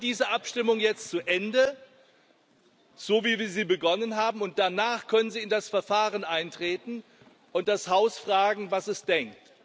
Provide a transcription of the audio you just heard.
Wir führen diese Abstimmung jetzt zu Ende, so wie wir sie begonnen haben, und danach können Sie in das Verfahren eintreten und das Haus fragen, was es denkt.